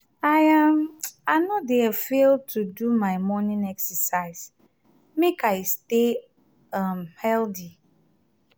i um i no dey fail to do my morning exercise make i stay um healthy.